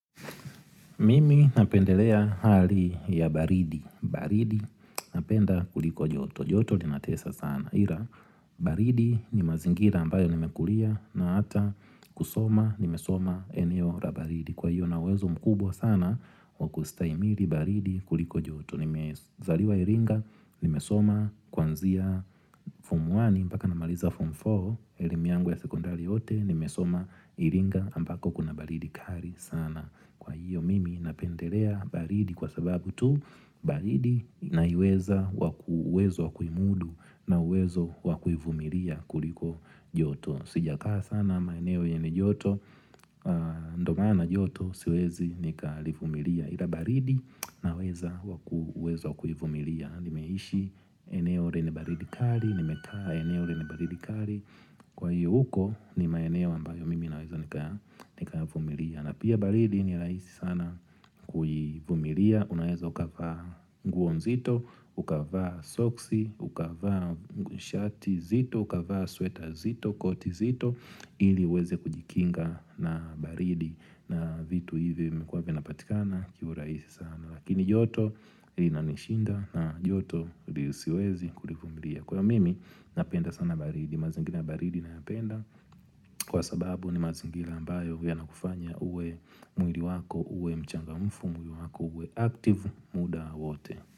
Mimi napendelea hali ya baridi baridi napenda kuliko joto joto linatesa sana Ila baridi ni mazingira ambayo nimekulia na ata kusoma nimesoma eneo la baridi Kwa hiyo ninauwezo mkubwa sana Wakustahimili baridi kuliko joto Nimezaliwa iringa Nimesoma kwanzia fomu wani mpaka namaliza fomu four elimu yangu ya sekondari yote Nimesoma iringa ambako kuna baridi kali sana Kwa hiyo mimi napendelea baridi kwa sababu tu baridi naiweza wakuuwezo wakuimudu na uwezo wakuivumilia kuliko joto Sijakaa sana maeneo yene joto Ndio maana joto siwezi nikalivumilia Ila baridi naweza wakuuwezo wakuvumilia Nimeishi eneo lene baridi kari nimekaa eneo lene baridi kari Kwa hiyo huko ni maeneo ambayo mimi na uwezo nikayavumilia na pia baridi ni rahisi sana kuivumilia Unaeza ukavaa nguo nzito, ukavaa soksi, ukavaa shati zito, ukavaa sweta zito, koti zito ili uweze kujikinga na baridi na vitu hivi vimekuwa vinapatikana kiurahisi sana Lakini joto linanishinda na joto ndio siwezi kulivumilia Kwa hiyo mimi napenda sana baridi, mazingira baridi nayapenda Kwa sababu ni mazingila ambayo yanakufanya uwe mwili wako, uwe mchangamfu, mwili wako, uwe active muda wote.